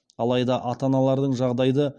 алайда ата аналардың жағдайды